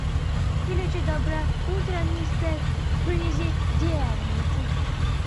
включи доброе утро мистер президент